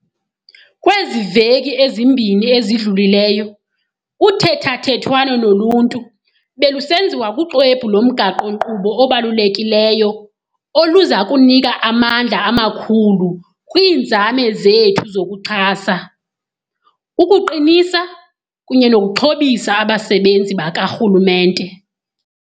Kwezi veki zimbini zidlulileyo, uthethathethwano noluntu belusenziwa kuxwebhu lomgaqo-nkqubo obalulekileyo oluza kunika amandla amakhulu kwiinzame zethu zokuxhasa, ukuqinisa, kunye nokuxhobisa abasebenzi bakarhulumente.